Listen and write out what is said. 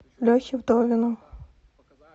лехе вдовину